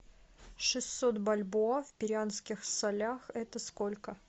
шестьсот бальбоа в перуанских солях это сколько